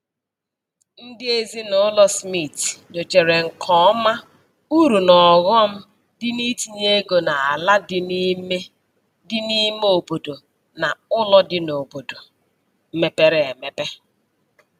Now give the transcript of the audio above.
Ndị ezinaụlọ Smith nyochara nke ọma uru na ọghọm dị n'itinye ego n'ala dị n'ime dị n'ime obodo na ụlọ dị n'obodo mepere emepe.